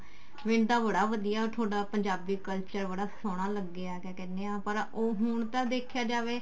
ਮੈਨੂੰ ਤਾਂ ਬੜਾ ਵਧੀਆ ਥੋਡਾ ਪੰਜਾਬੀ culture ਬੜਾ ਸੋਹਣਾ ਲੱਗਿਆ ਕਿਆ ਕਹਿਨੇ ਹਾਂ ਪਰ ਉਹ ਹੁਣ ਤਾਂ ਦੇਖਿਆ ਜਾਵੇ